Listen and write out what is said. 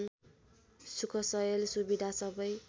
सुखसयल सुविधा सबै